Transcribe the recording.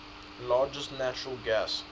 largest natural gas